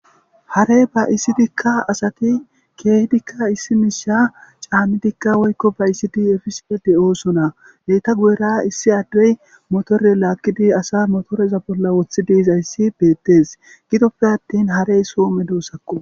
Hare ba'isidika asati keehidika isi miisha caanidika woyko ba'isidi efosona. Eeta bolla issi ade motore lagidi asa motereza bola wothidi bizaysi beetes, gidoppe attin hare so medosako.